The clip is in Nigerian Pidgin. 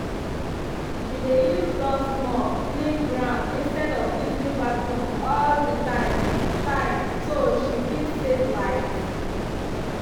she dey use dust mop clean ground instead of using vacuum all the time time so she fit save light.